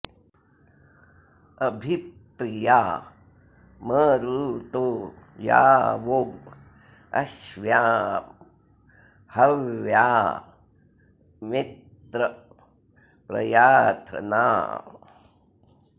अ॒भि प्रि॒या म॑रुतो॒ या वो॒ अश्व्या॑ ह॒व्या मि॑त्र प्रया॒थन॑